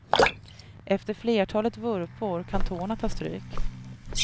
Efter flertalet vurpor kan tårna ta stryk.